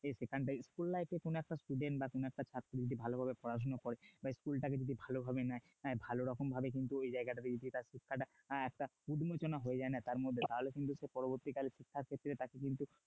সেখান থেকে school life এর কোন একটা student বা কোন একটা ছাত্র যদি ভালোভাবে পড়াশোনা করে বা school টাকে যদি ভালোভাবে নেয় ভালোভাবে কিন্তু ঐ জায়গাটাতে হ্যাঁ একটা হয়ে যায় না তার মধ্যে তাহলে কিন্তু সে পরবর্তীকালে শিক্ষার প্রতি তাকে কিন্তু